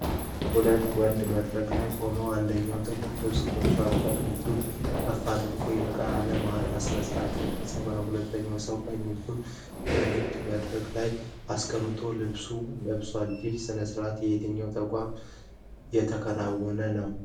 ሁለት ወንዶች መድረክ ላይ ቆመዋል፣ አንደኛው ጥቁር ልብስ ለብሶ ቀኝ እጁን ከፍ አድርጎ የቃለ መሃላ ስነስርዓት እየፈጸመ ነው። ሁለተኛው ሰው ቀኝ እጁን በንግግር መድረክ ላይ አስቀምጦ ልብስ ለብሷል። ይሄ ስነስርዓት በየትኛው ተቋም ነው የተከናወነው?